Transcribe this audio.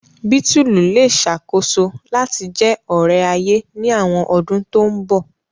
Bítùlù le ṣakoso lati jẹ ore-aye ni awọn ọdun to nbọ.